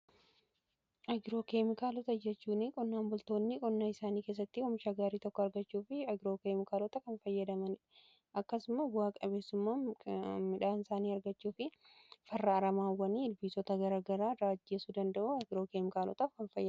agiroo keemikaalota jechuun qonnaan bultoonni qonnaa isaanii keessatti oomisha gaarii tokko argachuu fi agiroo keemikaalota kan fayyadaman akkasumas bu'aa qabeesumaa midhaan isaanii argachuu fi farra aramaawwani fi ilbiisota garagara ajjeesuu danda'u agiroo keemikaalotaa fayyadamu.